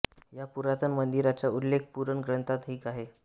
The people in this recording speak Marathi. या पुरातन मंदिराचा उल्लेख पुरण ग्रंथात ही आहे